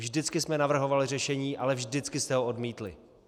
Vždycky jsme navrhovali řešení, ale vždycky jste ho odmítli.